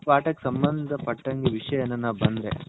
ಪಾಠಕೇ ಸಂಬಂದ ಪಟ್ಟoಗೆ ವಿಷೆಯ ಏನಾದ್ರು ಬಂದ್ರೆ .